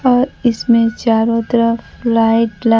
और इसमें चारों तरफ लाइट ला--